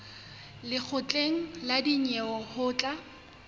lekgotleng la dinyewe ho tla